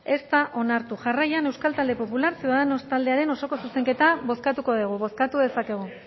ez da onartu jarraian euskal talde popular ciudadanos taldearen osoko zuzenketa bozkatuko dugu bozkatu dezakegu